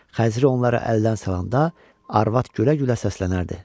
Xəzri onları əldən salanda, arvad gülə-gülə səslənərdi.